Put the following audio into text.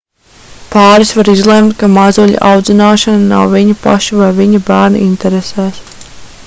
pāris var izlemt ka mazuļa audzināšana nav viņu pašu vai viņu bērna interesēs